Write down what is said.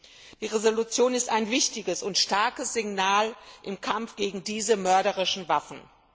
Die Entschließung ist ein wichtiges und starkes Signal im Kampf gegen diese mörderischen Waffen.